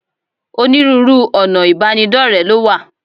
Onírúurú ọ̀nà ìbánidọ́rẹ̀ẹ́ ló wà.